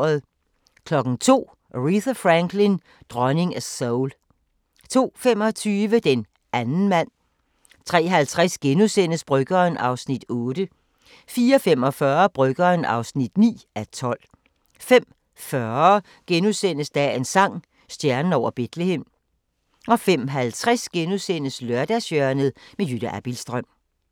02:00: Aretha Franklin: Dronningen af soul 02:25: Den anden mand 03:50: Bryggeren (8:12)* 04:45: Bryggeren (9:12) 05:40: Dagens sang: Stjernen over Betlehem * 05:50: Lørdagshjørnet – Jytte Abildstrøm *